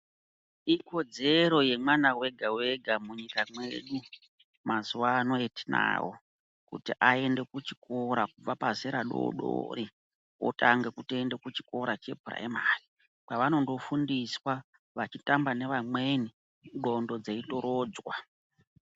Ikodzero yemwana wega wega munyika mwedu mazuvano etinawo kuti aende kuchikora kubva pazera dodori, otange kutoenda kuchikora chepuraimari kwevanondo fundiswa vachitamba nevamweni ngondo dzeitorodzwa.